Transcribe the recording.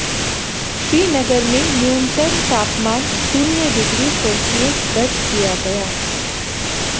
श्रीनगर में न्यूनतम तापमान शून्य डिग्री सेल्सियस दर्ज किया गया